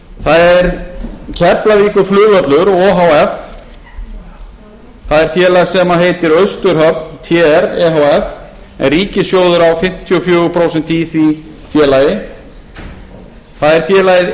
það er keflavíkurflugvöllur o h f það er félag sem heitir austurhöfn tr e h f en ríkissjóður á fimmtíu og fjögur prósent í því félagi það er félagið